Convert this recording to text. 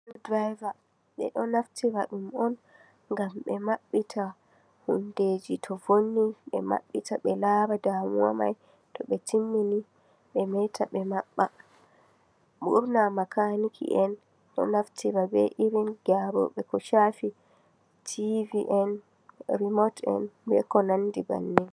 Sukul direebaa. Ɓeɗo naftira ɗum on ngam ɓe maɓɓita hundeji to vonni. Ɓe maɓɓita ɓe lara damuwa mai tobe timmini ɓe meta ɓe maɓɓa. Ɓurna makaanikien ɗo naftira, be irin gyaroɓe ko shafi tivi en, riimot en, be ko nandi bannin.